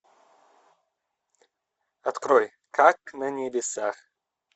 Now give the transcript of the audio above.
открой как на небесах